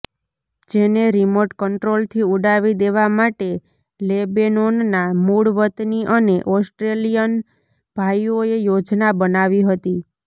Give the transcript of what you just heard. જેને રીમોટ કંટ્રોલથી ઉડાવી દેવા માટે લેબેનોનના મૂળ વતની અને ઓસ્ટ્રેલિયન ભાઈઓએ યોજના બનાવી હતી